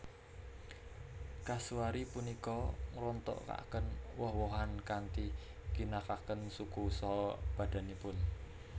Kasuari punika ngrontokaken woh wohan kanthi ngginakaken suku saha badanipun